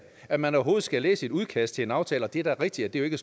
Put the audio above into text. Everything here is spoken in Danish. at man overhovedet skal læse sådan et udkast til en aftale det er da rigtigt at det ikke